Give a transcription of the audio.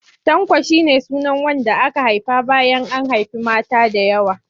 Tanko shi ne sunan wanda aka haifa bayan an haifi mata da yawa.